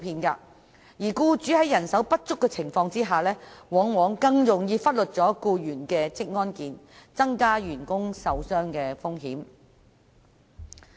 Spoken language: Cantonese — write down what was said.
僱主在人手不足的情況下，往往更容易忽略僱員的職安健，這樣會增加員工受傷的風險。